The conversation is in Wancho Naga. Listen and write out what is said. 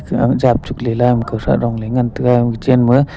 ka jap chuklela kawthrah dongley ngan taiga guchenma.